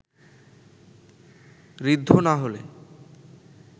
ঋদ্ধ না হলে